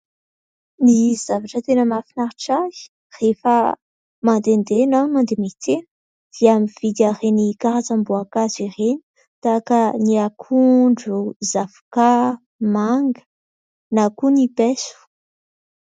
Ny zavatra tena mahafinaritra ahy rehefa mandehandeha na mandeha miantsena dia mividy an'ireny karazam-boankazo ireny tahaka ny akondro, zavoka, manga na koa ny paiso.